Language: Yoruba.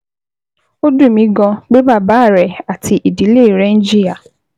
Ó dùn mí gan-an pé bàbá rẹ àti ìdílé rẹ ń jìyà